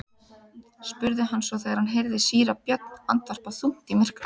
spurði hann svo þegar hann heyrði síra Björn andvarpa þungt í myrkrinu.